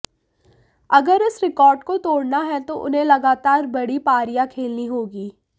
अगर इस रेकॉर्ड को तोड़ना है तो उन्हें लगातार बड़ी पारियां खेलनी होगी